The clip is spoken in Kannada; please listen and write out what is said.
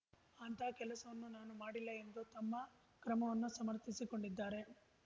ಅಂತಹ ಕೆಲಸವನ್ನು ನಾನು ಮಾಡಿಲ್ಲ ಎಂದು ತಮ್ಮ ಕ್ರಮವನ್ನು ಸಮರ್ಥಿಸಿಕೊಂಡಿದ್ದಾರೆ